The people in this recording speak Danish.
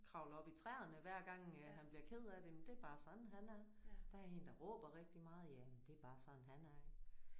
Kravler op i træerne hver gang han bliver ked af det men det er bare sådan han er. Der er en der råber rigtig meget ja men det er bare sådan han er